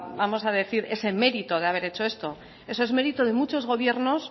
vamos a decir ese mérito de haber hecho esto eso es mérito de muchos gobiernos